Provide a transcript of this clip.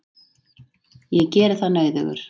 Ég geri það nauðugur.